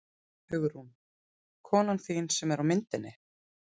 Hugrún: Konan þín sem er á myndinni?